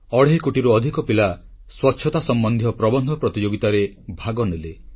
ଅଢ଼େଇ କୋଟିରୁ ଅଧିକ ପିଲା ସ୍ୱଚ୍ଛତା ସମ୍ବନ୍ଧୀୟ ପ୍ରବନ୍ଧ ପ୍ରତିଯୋଗିତାରେ ଭାଗନେଲେ